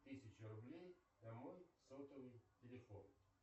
тысяча рублей на мой сотовый телефон